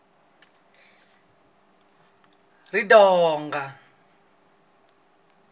ridonga